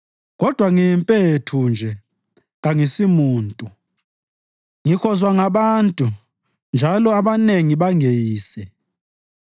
Kodwa ngiyimpethu nje kangisumuntu, ngihozwa ngabantu njalo abanengi bangeyise.